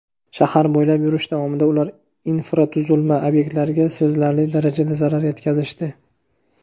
Shahar bo‘ylab yurish davomida ular infratuzilma obyektlariga sezilarli darajada zarar yetkazishdi.